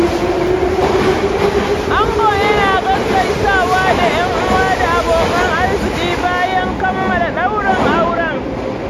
Ango yana gaggaisawa da ƴan'uwa da abokan arziki bayan kammala ɗaurin auren.